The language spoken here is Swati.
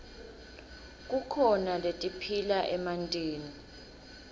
kukhona letiphila emantini